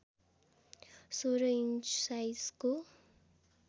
१६ inch साइजको